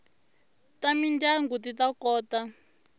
ta mindyangu ti ta kota